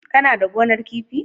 Kana da gonar kifi?